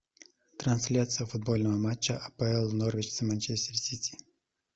трансляция футбольного матча апл норвич с манчестер сити